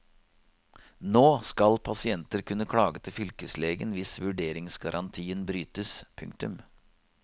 Nå skal pasienter kunne klage til fylkeslegen hvis vurderingsgarantien brytes. punktum